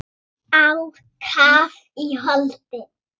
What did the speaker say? Á kaf í holdið.